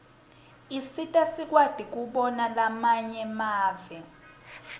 isisita sikwati kubona lamanye mave